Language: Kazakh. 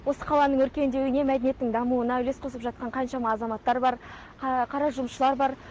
осы қаланың өркендеуіне мәдениеттің дамуына үлес қосып жатқан қаншама азаматтар бар қара жұмысшылар бар